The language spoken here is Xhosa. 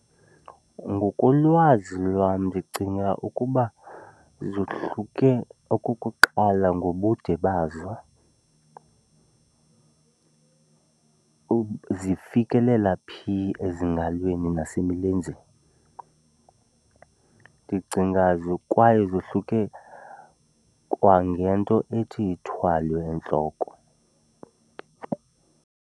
Ngokolwazi lwam ndicinga ukuba zohluke okokuqala ngobude bazo, zifikelela phi ezingalweni nasemilenzeni. Ndicinga kwaye zohluke kwangento ethi ithwalwe entloko.